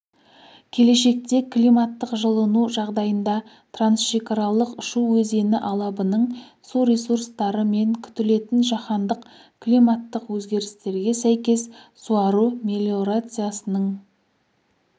келешекте климаттық жылыну жағдайында трансшекаралық шу өзені алабының су ресурстары мен күтілетін жаһандық климаттық өзгерістерге сәйкес суару мелиорациясының